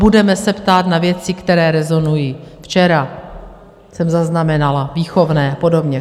Budeme se ptát na věci, které rezonují, včera jsem zaznamenala výchovné a podobně.